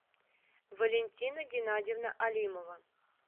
валентина геннадьевна алимова